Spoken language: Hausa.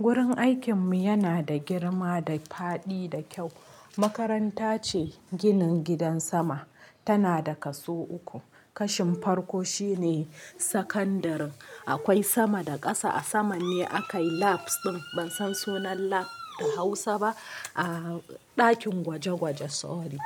Gurin aikin mu yana da girma da faɗi da kyau. Makaranta ce ginin gidan sama, tana da kaso uku. Kashin farko shine sakandarin. Akwai sama da ƙasa, a sama ne aka yi labs ɗin, ban san sunan lab da Hausa ba. A ɗakin gwaje-gwaje sorry.